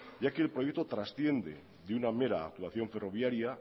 ya que el proyecto transciende de una mera actuación ferroviaria